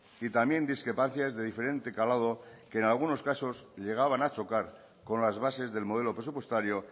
y también discrepancias de diferente calado que en algunos casos llegaban a chocar con las bases del modelo presupuestario